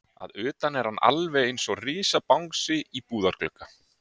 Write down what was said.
Að utan er hann alveg einsog risabangsi í búðarglugga.